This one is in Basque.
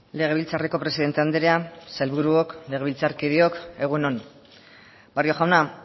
legebiltzarreko presidente andrea sailburuok legebiltzarkideok egun on barrio jauna